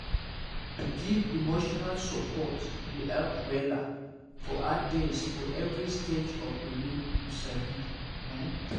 to give emotional support dey help wella for hard days for every stage of bele you sabi ehn